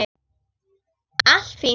Allt fínt.